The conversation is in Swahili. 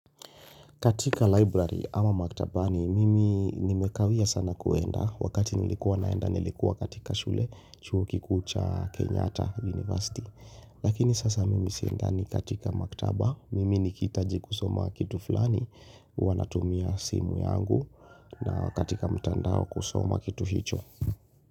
Katika library ama maktabani mimi nimekawia sana kwenda wakati nilikuwa naenda nilikuwa katika shule chuo kikuucha Kenyata University. Lakini sasa mimi siendani katika maktaba mimi nikihitaji kusoma kitu fulani huwanatumia simu yangu na katika mtandao kusoma kitu hicho.